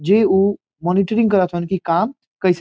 जे उ मॉनिटरिंग करत तारन की काम कैसे --